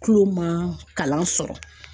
Tulo ma kalan sɔrɔ